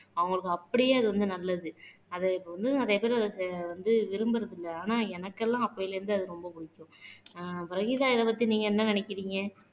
அவங்களுக்கு அப்படியே அது வந்து நல்லது. அத இப்ப வந்து வந்து விரும்புறது இல்லை ஆனா எனக்கெல்லாம் அப்பயில இருந்து அது ரொம்ப பிடிக்கும். ஆஹ் வஹீதா இத பத்தி நீங்க என்ன நினைக்கிறீங்க